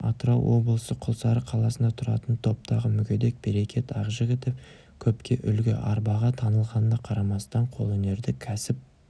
атырау облысы құлсары қаласында тұратын топтағы мүгедек берекет ақжігітов көпке үлгі арбаға таңылғанына қарамастан қолөнерді кәсіп